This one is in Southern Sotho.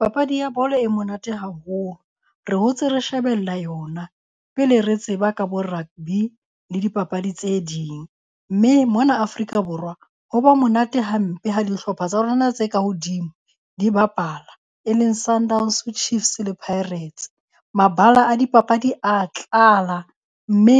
Papadi ya bolo e monate haholo. Re hotse re shebella yona pele re tseba ka bo rugby le dipapadi tse ding. Mme mona Afrika Borwa ho ba monate hampe ha dihlopha tsa rona tse ka hodimo di bapala e leng Sundowns, Chiefs le Pirates. Mabala a dipapadi a tlala mme